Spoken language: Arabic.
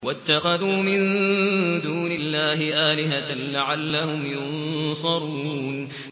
وَاتَّخَذُوا مِن دُونِ اللَّهِ آلِهَةً لَّعَلَّهُمْ يُنصَرُونَ